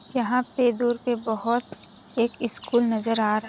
यहाँ पे दूर पे बहुत एक स्कूल नज़र आ रहा --